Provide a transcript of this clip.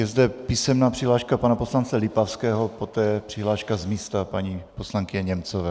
Je zde písemná přihláška pana poslance Lipavského, poté přihláška z místa paní poslankyně Němcové.